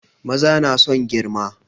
Maza na son girma